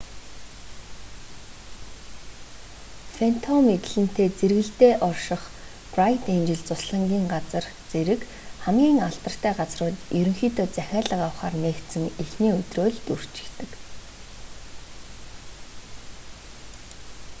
фэнтом эдлэнтэй зэргэлдээ орших брайт энжел зуслангийн газар зэрэг хамгийн алдартай газрууд ерөнхийдөө захиалга авахаар нээгдсэн эхний өдрөө л дүүрчихдэг